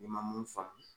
N'i ma mun faamu